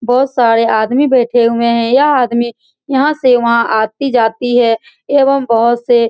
बहोत सारे आदमी बैठे हुए हैं यह आदमी यहां से वहां आती-जाती है एवं बहोत से --